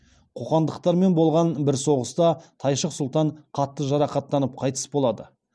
қоқандықтармен болған бір соғыста тайшық сұлтан қатты жарақаттанып қайтыс болады